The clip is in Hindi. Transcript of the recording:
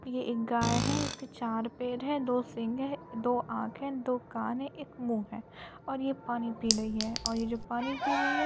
ये एक गाय है इसके चार पैर है दो सिंग है दो आंख है दो कान है एक मुंह है और ये पानी पी रही है और ये जो पानी पी रही है --